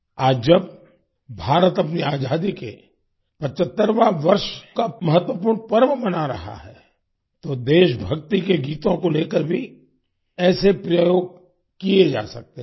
आज जब भारत अपनी आज़ादी के 75वाँ वर्ष का महत्वपूर्ण पर्व मना रहा है तो देशभक्ति के गीतों को लेकर भी ऐसे प्रयोग किए जा सकते हैं